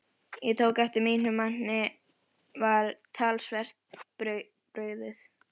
Ég tók eftir að mínum manni var talsvert brugðið.